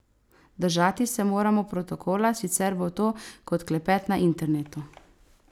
Držati se moramo protokola, sicer bo to kot klepet na internetu.